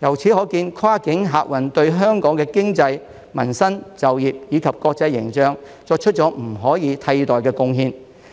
由此可見，跨境客運業對香港的經濟、民生、就業，以及國際形象作出了不可以替代的貢獻。